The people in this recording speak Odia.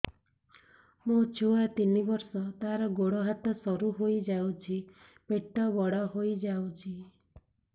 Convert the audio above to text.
ମୋ ଛୁଆ ତିନି ବର୍ଷ ତାର ଗୋଡ ହାତ ସରୁ ହୋଇଯାଉଛି ପେଟ ବଡ ହୋଇ ଯାଉଛି